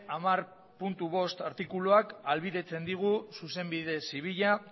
hamar puntu bost artikuluak ahalbidetzen digu zuzenbide zibila